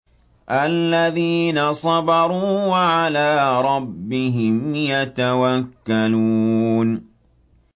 الَّذِينَ صَبَرُوا وَعَلَىٰ رَبِّهِمْ يَتَوَكَّلُونَ